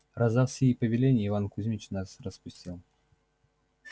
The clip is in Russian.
раздав сии повеления иван кузмич нас распустил